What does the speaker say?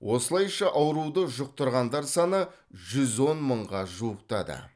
осылайша ауруды жұқтырғандар саны жүз он мыңға жуықтады